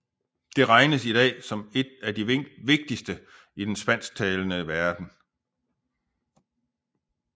Det regnes i dag som et af de vigtigste i den spansktalende verden